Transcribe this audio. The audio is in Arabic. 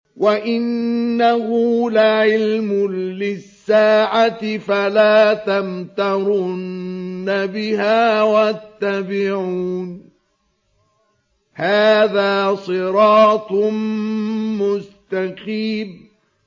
وَإِنَّهُ لَعِلْمٌ لِّلسَّاعَةِ فَلَا تَمْتَرُنَّ بِهَا وَاتَّبِعُونِ ۚ هَٰذَا صِرَاطٌ مُّسْتَقِيمٌ